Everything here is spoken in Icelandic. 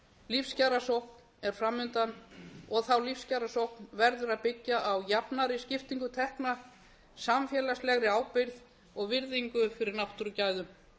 lífskjarasókn er framundan og þá lífskjarasókn verður að byggja á jafnari skiptingu tekna samfélagslegri ábyrgð og virðingu fyrir náttúrugæðum